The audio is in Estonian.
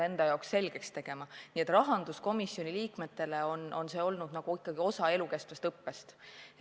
Nii et rahanduskomisjoni liikmetele on see olnud nagu osa elukestvat õppest.